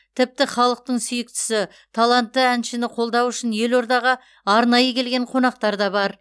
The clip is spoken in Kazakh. тіпті халықтың сүйіктісі талантты әншіні қолдау үшін елордаға арнайы келген қонақтар да бар